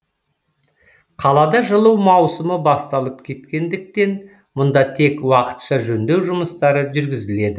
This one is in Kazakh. қалада жылу маусымы басталып кеткендіктен мұнда тек уақытша жөндеу жұмыстары жүргізіледі